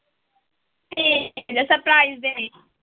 ਠੀਕ ਜੇ surprise ਦੇਣੇ।